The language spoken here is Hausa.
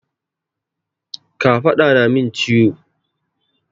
Kafaɗa na na min ciwo.